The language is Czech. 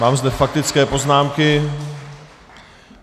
Mám zde faktické poznámky.